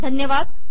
नमस्ते